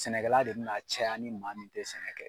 Sɛnɛ kɛla de bɛna caya ni man min tɛ sɛnɛ kɛ.